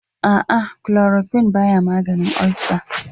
A'a, klorokuwin baya maganin ulcer.